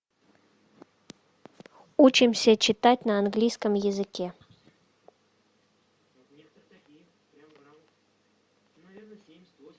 учимся читать на английском языке